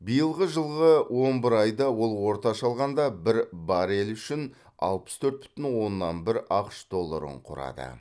биылғы жылғы он бір айда ол орташа алғанда бір баррель үшін алпыс төрт бүтін оннан бір ақш долларын құрады